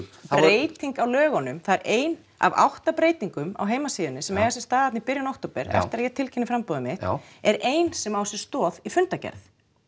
breyting á lögunum það er ein af átta breytingum á heimasíðunni sem eiga sér stað þarna í október eftir að ég tilkynni framboðið mitt er ein sem á sér stoð í fundargerð